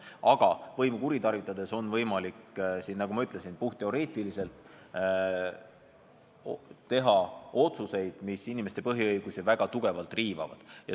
Aga võimu kuritarvitades on võimalik, nagu ma ütlesin puhtteoreetiliselt, teha otsuseid, mis inimeste põhiõigusi väga tugevalt riivavad.